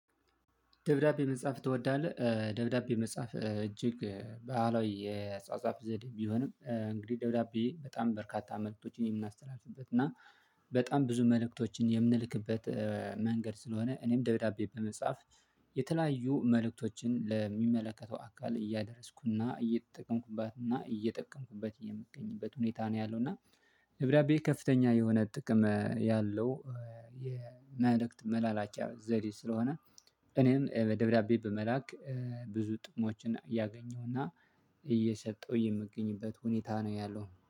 ደብዳቤ መጻፍ ትወዳለህ? ደብዳቤ መጻፍ እጅግ በዓላዊ የጻፋፍ ዘዴ ቢሆንም፤ እንግዲህ ደውዳቤ በጣም በርካታ መልእክቶችን የምናስተላልፍበት እና በጣም ብዙ መልእክቶችን የምንልክበት መንገድ ስለሆነ እኔም ደብዳቤ በመጻፍ የተለያዩ መልእክቶችን ለሚመለከተው አካል እያደረስኩና እየጠቀምኩባትና እየጠቀምኩበት የምትገኝበት ሁኔታ ነው ያለው። እና ደብዳቤ ከፍተኛ የሆነ ጥቅም ያለው የመልእክት መላላኪያ ዘዴ ስለሆነ እኔም በደብዳቤ በመላክ ብዙ ጥሞችን እያገኘሁና እየሰጠሁ የምገኝበት ሁኔታ ነው ያለው።